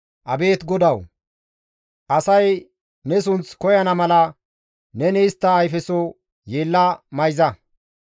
Abeet GODAWU! Asay ne sunth koyana mala neni istta ayfeso yeella mayza.